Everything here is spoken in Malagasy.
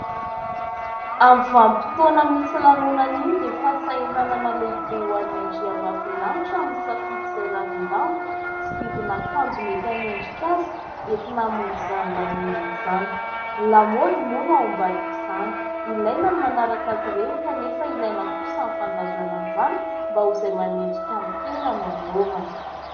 Amin'ny vanim-potoana misy lanonana iny dia fasahiranana lehibe ho an'ny andriambavilanitra ny misafidy izay ravin-damba sy didin'akanjo mety anendrika azy entina hamonjy izany lanonana izany. Lamody moa no ao ambadika izany. Ilaina ny manaraka azy ireny kanefa ilaina kosa ny fandanjalanjana mba ho izay manendrika amin'ny tena no anaovana.